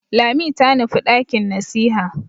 Lami ta nufi ɗakin nasiha.